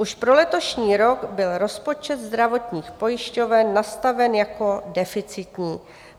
Už pro letošní rok byl rozpočet zdravotních pojišťoven nastaven jako deficitní.